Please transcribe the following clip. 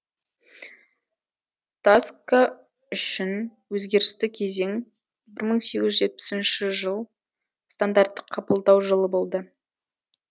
таска үшін өзгерісті кезең бір мың сегіз жүз жетпісінші жыл стандартты қабылдау жылы болды